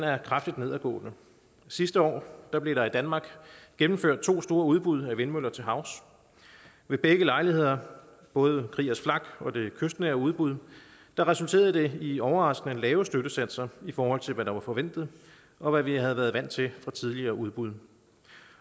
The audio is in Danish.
er kraftigt nedadgående sidste år blev der i danmark gennemført to store udbud af vindmøller til havs ved begge lejligheder både kriegers flak og det kystnære udbud resulterede det i overraskende lave støttesatser i forhold til hvad der var forventet og hvad vi havde været vant til fra tidligere udbud